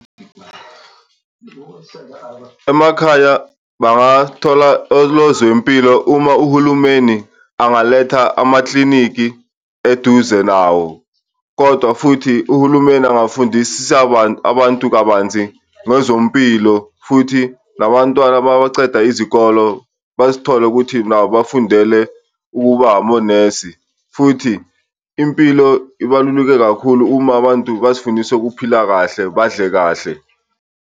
Emakhaya bangathola onozempilo uma uhulumeni angalethela amaklinikhi eduze nawo, kodwa futhi uhulumeni angafundisisa abantu kabanzi ngezompilo, futhi nabantwana mabaceda izikolo bazithole ukuthi nabo bafundele ukuba amonesi. Futhi impilo ibaluleke kakhulu uma abantu bazifundise ukuphila kahle, badle kahle.